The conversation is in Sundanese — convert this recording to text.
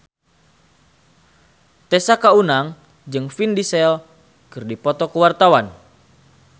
Tessa Kaunang jeung Vin Diesel keur dipoto ku wartawan